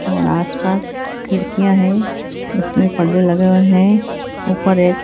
और आस पास खिड़कियां है उसमें पर्दे लगे है ऊपर एक--